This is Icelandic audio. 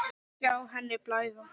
Sjá henni blæða.